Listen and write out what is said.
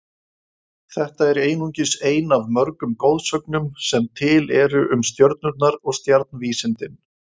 Þetta er einungis ein af mörgum goðsögnum sem til eru um stjörnurnar og stjarnvísindin.